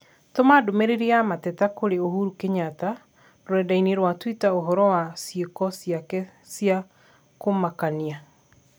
Tũma ndũmĩrĩri ya mateta kũrĩ Uhuru Kenyatta rũrenda-inī rũa tũita ũhoro wa ciĩko ciake cia kũmakania